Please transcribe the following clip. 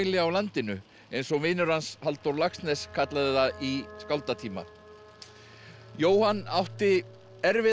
á landinu eins og vinur hans Halldór Laxness kallaði það í skáldatíma Jóhann átti erfiða